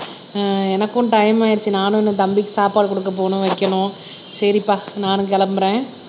ஆஹ் எனக்கும் டைம் ஆயிருச்சு நானும் இன்னும் தம்பிக்கு சாப்பாடு கொடுக்கப் போகணும் வைக்கணும். சரிப்பா நானும் கிளம்புறேன்